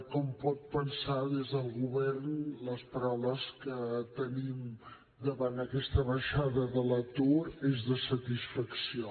com pot pensar des del govern les paraules que tenim davant d’aquesta baixada de l’atur són de satisfacció